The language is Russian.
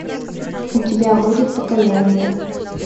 у тебя будет покаяние